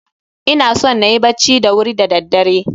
Ina son na yi bacci da wuri da daddare.